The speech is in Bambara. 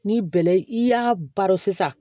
Ni bɛlɛ i y'a baro sisan